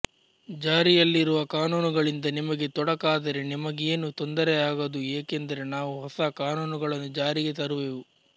ಜಾರಿಯಲ್ಲಿರುವ ಕಾನೂನುಗಳಿಂದ ನಿಮಗೆ ತೊಡಕಾದರೆ ನಿಮಗೇನೂ ತೊಂದರೆಯಾಗದು ಏಕೆಂದರೆ ನಾವು ಹೊಸ ಕಾನೂನುಗಳನ್ನು ಜಾರಿಗೆ ತರುವೆವು